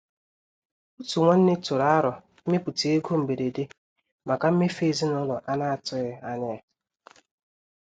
Òtù nwanne tụrụ àrò ịmèpụta égò mbèrédè maka mmèfù ezinúlọ̀ a na-atùghị anya ya.